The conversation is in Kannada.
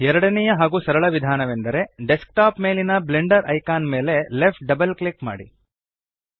ಎರಡನೆಯ ಹಾಗೂ ಸರಳ ವಿಧಾನವೆಂದರೆ ಡೆಸ್ಕ್ ಟಾಪ್ ಮೇಲಿನ ಬ್ಲೆಂಡರ್ ಐಕಾನ್ ಮೇಲೆ ಲೆಫ್ಟ್ ಡಬಲ್ ಕ್ಲಿಕ್ ಮಾಡಿ